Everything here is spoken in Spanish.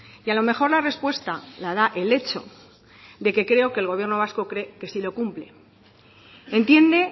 y a lo mejor la respuesta la da el hecho de que creo que el gobierno vasco cree que sí lo cumple entiende